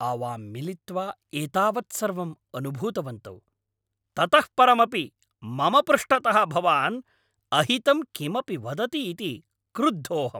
आवां मिलित्वा एतावत् सर्वम् अनुभूतवन्तौ, ततः परमपि मम पृष्ठतः भवान् अहितं किमपि वदति इति क्रुद्धोऽहम्।